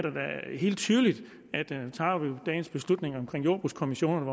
helt tydeligt at tager vi dagens beslutning om jordbrugskommissionerne